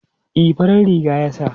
E, farar riga ya sa.